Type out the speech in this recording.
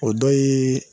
O dɔ ye